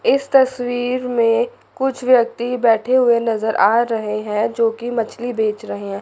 इस तस्वीर में कुछ व्यक्ति बैठे हुए नजर आ रहे हैं जोकि मछली बेच रहे हैं।